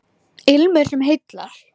Ilmur sem heillar